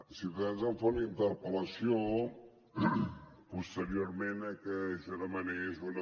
ciutadans em fa una interpel·lació posteriorment a que jo demanés una